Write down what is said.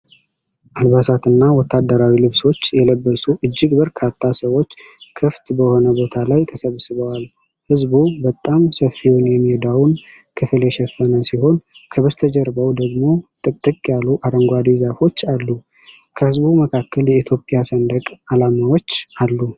አልባሳትና ወታደራዊ ልብሶች የለበሱ እጅግ በርካታ ሰዎች ክፍት በሆነ ቦታ ላይ ተሰብስበዏል። ሕዝቡ በጣም ሰፊውን የሜዳውን ክፍል የሸፈነ ሲሆን፣ ከበስተጀርባው ደግሞ ጥቅጥቅ ያሉ አረንጓዴ ዛፎች አሉ። ከሕዝቡ መካከል የኢትዮጵያ ሰንደቅ ዓላማዎች አሉ።